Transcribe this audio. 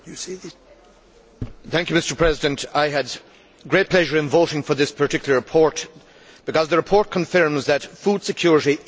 Mr President, I had great pleasure in voting for this particular report, because the report confirms that food security is a basic human right.